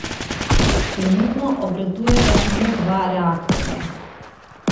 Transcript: Trenutno obratujeta samo dva reaktorja.